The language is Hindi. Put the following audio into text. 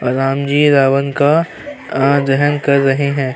रामजी रावण का दहन कर रहे है।